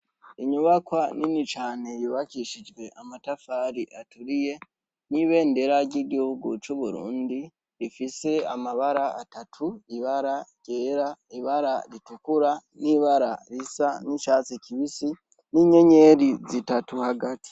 Inybakwa nini cane yubakishijwe amatafari aturiye, n'ibendera ry'igihugu c'Uburundi rifise amabara atatu: ibara ryera, ibara ritukura, n'ibara risa n'icatsi kibisi, n'inyeyeri zitatu hagati.